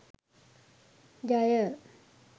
ජය